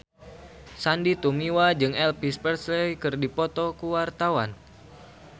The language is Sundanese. Sandy Tumiwa jeung Elvis Presley keur dipoto ku wartawan